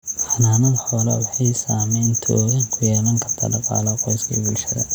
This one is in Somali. Xanaanada xoolaha waxay saamayn togan ku yeelan kartaa dhaqaalaha qoyska iyo bulshada.